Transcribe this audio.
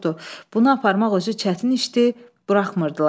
Bunu aparmaq özü çətin işdi, buraxmırdılar.